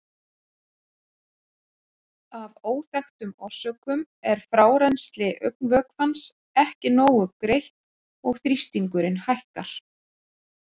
Af óþekktum orsökum er frárennsli augnvökvans ekki nógu greitt og þrýstingurinn hækkar.